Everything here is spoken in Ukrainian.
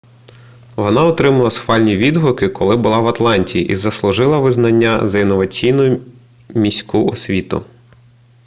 вона отримала схвальні відгуки коли була в атланті і заслужила визнання за інноваційну міську освіту